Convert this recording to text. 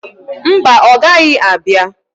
Mba, ọ gaghị abia.